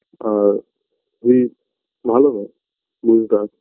আর যদি ভাল হয় দিনকাল